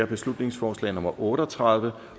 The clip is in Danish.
beslutningsforslag nummer b otte og tredive